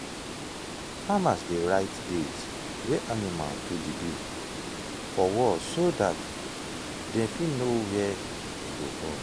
farmers dey write date wey animal do “the do” for wall so dem fit know when e go born.